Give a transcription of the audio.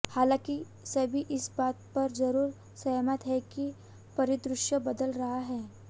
हालांकि सभी इस बात पर जरूर सहमत हैं कि परिदृश्य बदल रहा है